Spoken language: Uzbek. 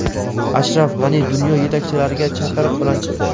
Ashraf G‘ani dunyo yetakchilariga chaqiriq bilan chiqdi.